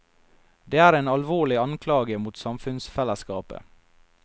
Det er en alvorlig anklage mot samfunnsfellesskapet.